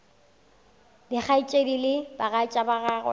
dikgaetšedi le bagatša ba gagwe